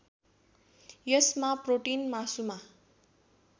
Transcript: यसमा प्रोटीन मासुमा